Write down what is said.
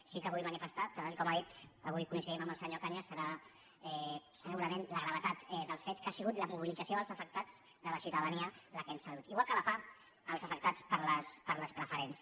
sí que vull manifestar tal com ha dit avui coincidim el senyor cañas deu ser segu·rament la gravetat dels fets que ha sigut la mobilit·zació dels afectats de la ciutadania la que ens ha dut igual que la pah els afectats per les preferents